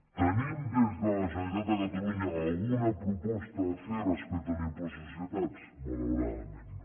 tenim des de la generalitat de catalunya alguna proposta a fer respecte a l’impost de societats malauradament no